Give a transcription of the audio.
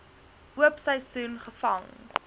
oop seisoen gevang